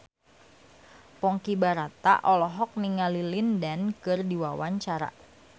Ponky Brata olohok ningali Lin Dan keur diwawancara